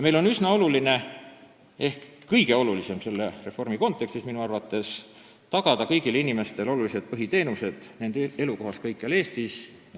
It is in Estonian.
Minu arvates on selle reformi kontekstis üsna oluline või kõige olulisem tagada kõigile inimestele olulised põhiteenused nende elukohas kõikjal Eestis.